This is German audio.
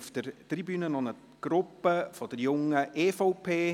Auf der Tribüne befindet sich eine Gruppe der Jungen EVP.